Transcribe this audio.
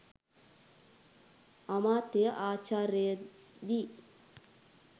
අමාත්‍ය ආචාර්ය දි.